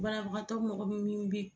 Banabagatɔ mɔgɔ bɛ minni bi